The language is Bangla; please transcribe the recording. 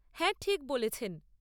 হ্যাঁ, ঠিক বলেছেন।